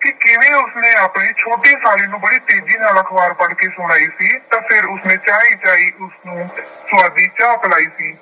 ਕਿ ਕਿਵੇਂ ਉਸਨੇ ਆਪਣੀ ਛੋਟੀ ਸ਼ਾਲੀ ਨੂੰ ਬੜੀ ਤੇਜ਼ੀ ਨਾਲ ਅਖਬਾਰ ਪੜ੍ਹ ਕੇ ਸੁਣਾਈ ਸੀ ਤਾਂ ਫਿਰ ਉਸਨੇ ਚਾਈਂ ਚਾਈਂ ਉਸਨੂੰ ਸੁਆਦੀ ਚਾਹ ਪਿਲਾਈ ਸੀ।